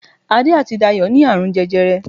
Adé àti Dayọ̀ ní àrùn jẹjẹrẹ